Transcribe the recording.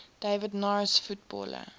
david norris footballer